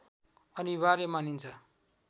अनिवार्य मानिन्छ